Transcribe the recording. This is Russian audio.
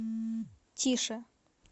тише